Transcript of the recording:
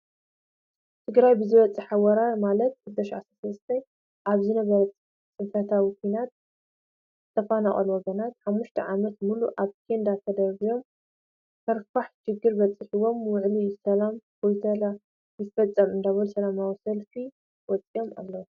ትግራይ ብዝበፀሓ ወራር ማለት 2013 ኣብ ዝነበረ ፅንፈታዊ ኩናት ዝተፈናቀሉ ወገናትና 5ተ ዓመት ሙሉእ ኣብ ኬዳ ተደርቢዮም ከርፋሕ ሽግር በዚሕዎም ውዕሊ ሰላም ፕሪቶርያ ይፈፀም እንዳበሉ ሰላማዊ ሰልፊ ወፂኦም ኣለው።